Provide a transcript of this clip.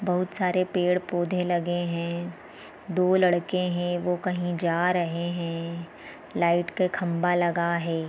बहुत सारे पेड़-पौधे लगे हैं दो लड़के हैं वो कहीं जा रहे हैं लाइट का खंभा लगा है।